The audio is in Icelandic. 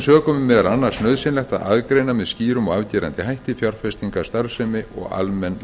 sökum er meðal annars nauðsynlegt að aðgreina með skýrum og afgerandi hætti fjárfestingarstarfsemi og almenn